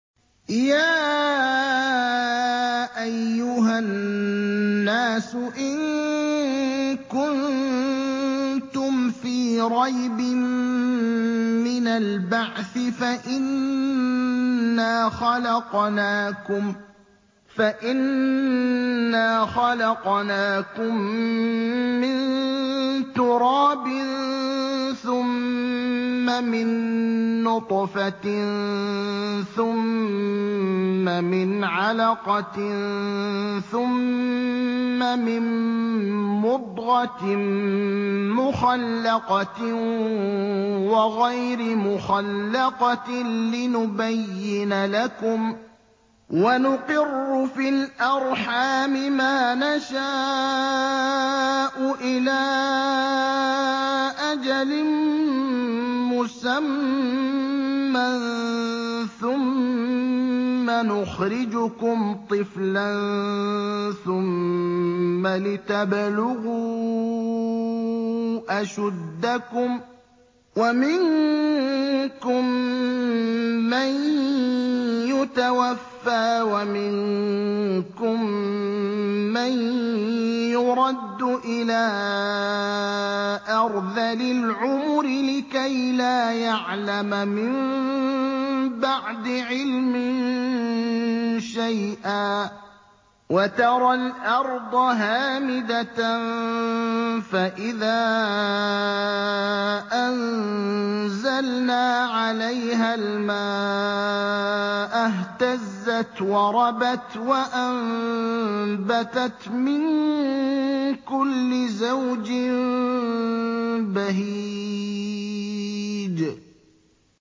يَا أَيُّهَا النَّاسُ إِن كُنتُمْ فِي رَيْبٍ مِّنَ الْبَعْثِ فَإِنَّا خَلَقْنَاكُم مِّن تُرَابٍ ثُمَّ مِن نُّطْفَةٍ ثُمَّ مِنْ عَلَقَةٍ ثُمَّ مِن مُّضْغَةٍ مُّخَلَّقَةٍ وَغَيْرِ مُخَلَّقَةٍ لِّنُبَيِّنَ لَكُمْ ۚ وَنُقِرُّ فِي الْأَرْحَامِ مَا نَشَاءُ إِلَىٰ أَجَلٍ مُّسَمًّى ثُمَّ نُخْرِجُكُمْ طِفْلًا ثُمَّ لِتَبْلُغُوا أَشُدَّكُمْ ۖ وَمِنكُم مَّن يُتَوَفَّىٰ وَمِنكُم مَّن يُرَدُّ إِلَىٰ أَرْذَلِ الْعُمُرِ لِكَيْلَا يَعْلَمَ مِن بَعْدِ عِلْمٍ شَيْئًا ۚ وَتَرَى الْأَرْضَ هَامِدَةً فَإِذَا أَنزَلْنَا عَلَيْهَا الْمَاءَ اهْتَزَّتْ وَرَبَتْ وَأَنبَتَتْ مِن كُلِّ زَوْجٍ بَهِيجٍ